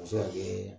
A bɛ se ka kɛ